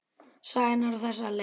Sagan er á þessa leið: